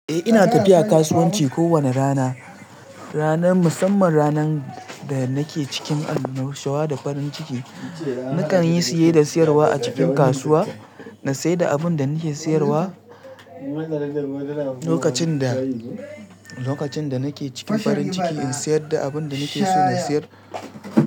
Eh ina tafiya kasuwanci kowane rana. Ranar musamman ranan da nake cikin annushawa da farin ciki. Nakan yi siye da siyarwa a cikin kasuwa. Na siyar da abun da nake siyarwa lokacin da, lokacin da nake cikin farin ciki in siyar da abun da nake so na siyar.